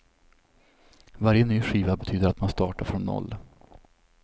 Varje ny skiva betyder att man startar från noll.